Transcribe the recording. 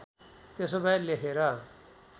त्यसो भए लेखेर